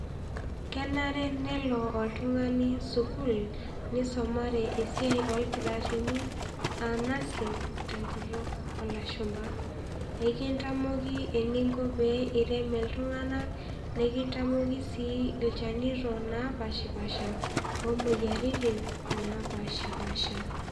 Kenare nelo oltungani suku, nisumare esiai olkitarini aa nursing tenkutuk olashumba, ekintamoki eningo pee irem iltungana, nikintamoki si ilchanito napashipasha, omoyiaritin napashipasha,